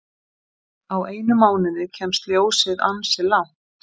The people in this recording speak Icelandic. Á einum mánuði kemst ljósið ansi langt.